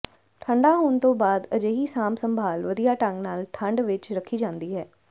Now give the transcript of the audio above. ਠੰਢਾ ਹੋਣ ਤੋਂ ਬਾਅਦ ਅਜਿਹੀ ਸਾਂਭ ਸੰਭਾਲ ਵਧੀਆ ਢੰਗ ਨਾਲ ਠੰਢ ਵਿਚ ਰੱਖੀ ਜਾਂਦੀ ਹੈ